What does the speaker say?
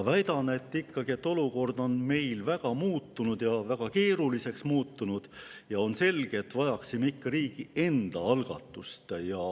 Väidan, et olukord on meil muutunud väga keeruliseks ja on selge, et me vajaksime ikkagi riigi enda algatust.